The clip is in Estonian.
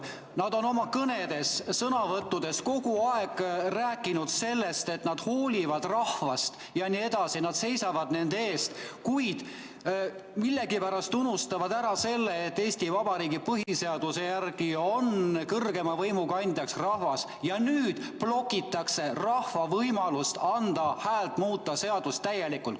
Nad on oma kõnedes ja sõnavõttudes kogu aeg rääkinud sellest, et nad hoolivad rahvast jne, nad seisavad rahva eest, kuid millegipärast unustavad ära, et Eesti Vabariigi põhiseaduse järgi on kõrgeima võimu kandja rahvas, ja nüüd blokitakse rahva võimalust anda häält, muuta seadust täielikult.